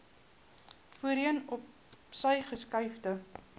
voorheen opsy geskuifde